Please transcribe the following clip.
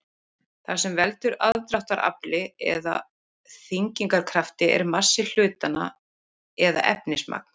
það sem veldur aðdráttarafli eða þyngdarkrafti er massi hlutanna eða efnismagn